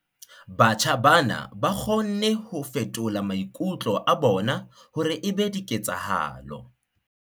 Batjha bana ba kgonne ho fetola maikutlo a bona hore e be diketsahalo.